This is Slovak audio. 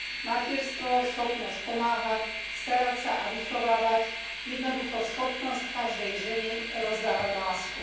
Materstvo, schopnosť pomáhať, starať sa a vychovávať, jednoducho schopnosť každej ženy rozdávať lásku.